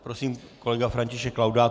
Prosím, kolega František Laudát.